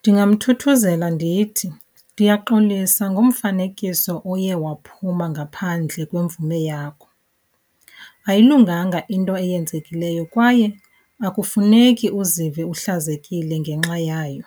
Ndingamthuthuzela ndithi ndiyaxolisa ngomfanekiso oye waphuma ngaphandle kwemvume yakho. Ayilunganga into eyenzekileyo kwaye akufuneki uzive uhlazekile ngenxa yayo,